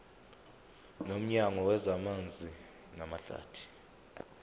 nomnyango wezamanzi namahlathi